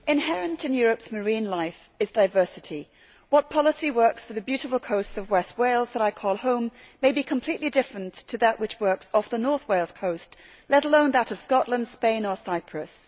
Mr President, inherent in Europe's marine life is diversity. A policy that works for the beautiful coasts of west Wales that I call home may be completely different to one which works off the north Wales coast, let alone that of Scotland, Spain or Cyprus.